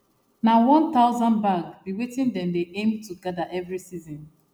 na one thousand bag be wetin dem dey aim to gather every season